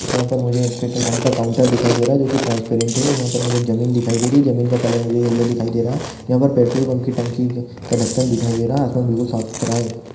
यहाँ पर मुझे पेट्रोल पंप का काउंटर दिखाई दे रहा है जो कि ट्रांसपेरेंट है और यहाँ पर मुझे ज़मीन दिखाई दे रही है और ज़मीन का कलर मुझे येल्लो दिखाई दे रहा है यहाँ पर पेट्रोल पंप की टंकी का ढक्कन दिखाई दे रहा है आसपास बिल्कुल साफ-सुथरा है।